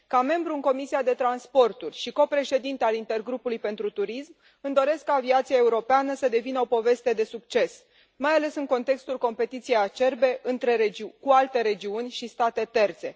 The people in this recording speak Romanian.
Ca membru în Comisia pentru transporturi și copreședintă a Intergrupului pentru turism îmi doresc ca aviația europeană să devină o poveste de succes, mai ales în contextul competiției acerbe cu alte regiuni și state terțe.